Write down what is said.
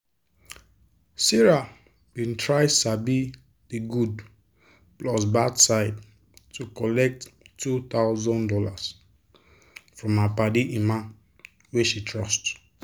sarah bin try sabi de good plus bad side to collect two thousand dollars from her padi emma wey she trust.